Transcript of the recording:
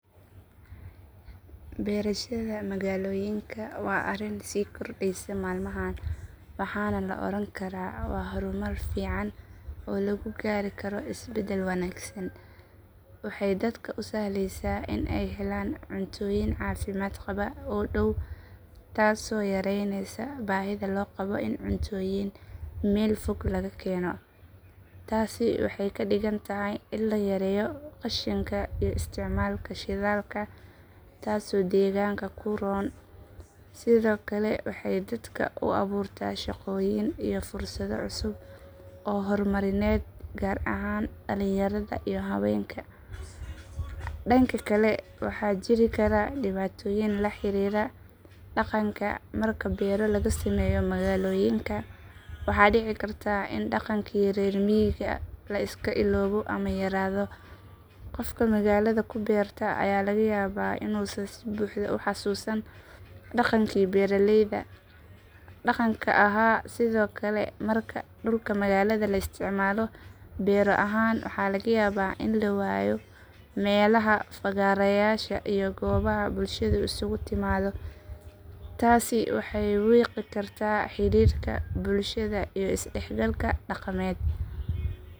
Beerashada magaalooyinka waa arrin sii kordhaysa maalmahan waxaana la oran karaa waa horumar fiican oo lagu gaari karo isbadal wanaagsan. Waxay dadka u sahlaysaa in ay helaan cuntooyin caafimaad qaba oo dhow, taasoo yareynaysa baahida loo qabo in cuntooyin meel fog laga keeno. Taasi waxay ka dhigan tahay in la yareeyo qashinka iyo isticmaalka shidaalka, taasoo deegaanka u roon. Sidoo kale waxay dadka u abuurtaa shaqooyin iyo fursado cusub oo horumarineed, gaar ahaan dhalinyarada iyo haweenka. Dhanka kale, waxaa jiri kara dhibaatooyin la xiriira dhaqanka. Marka beero laga sameeyo magaalooyinka, waxaa dhici karta in dhaqankii reer miyiga la iska iloobo ama yaraado. Qofka magaalada ku beerta ayaa laga yaabaa inuusan si buuxda u xasuusan dhaqankii beeralayda dhaqanka ahaa. Sidoo kale, marka dhulka magaalada la isticmaalo beero ahaan, waxaa laga yaabaa in la waayo meelaha fagaareyaasha iyo goobaha bulshadu isugu timaado. Taasi waxay wiiqi kartaa xidhiidhka bulshada iyo isdhexgalka dhaqameed.